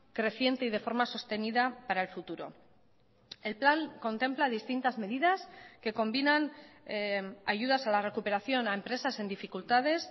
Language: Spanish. creciente y de forma sostenida para el futuro el plan contempla distintas medidas que combinan ayudas a la recuperación a empresas en dificultades